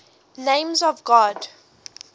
names of god